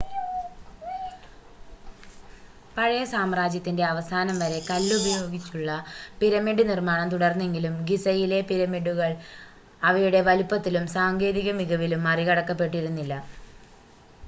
പഴയ സാമ്രാജ്യത്തിൻ്റെ അവസാനം വരെ കല്ല് ഉപയോഗിച്ചുള്ള പിരമിഡ് നിർമ്മാണം തുടർന്നെങ്കിലും ഗിസയിലെ പിരമിഡുകൾ അവയുടെ വലുപ്പത്തിലും സാങ്കേതിക മികവിലും മറികടക്കപ്പെട്ടിരുന്നില്ല